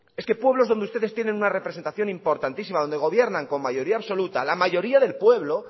es que pueblos donde ustedes tienen una representación importantísima donde gobiernan con mayoría absoluta la mayoría del pueblo